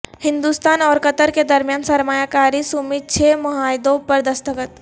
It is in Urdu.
ہندوستان اورقطر کے درمیان سرمایہ کاری سمیت چھ معاہدوں پر دستخط